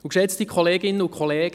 Geschätzte Kolleginnen und Kollegen